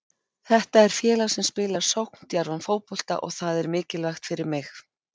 Þetta er félag sem spilar sókndjarfan fótbolta og það er mikilvægt fyrir mig.